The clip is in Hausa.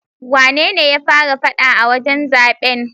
Wanene ya fara faɗa a wajen zaben?